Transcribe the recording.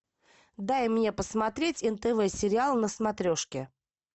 дай мне посмотреть нтв сериал на смотрешке